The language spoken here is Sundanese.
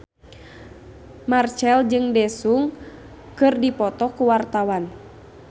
Marchell jeung Daesung keur dipoto ku wartawan